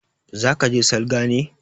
Za ke je salga ne?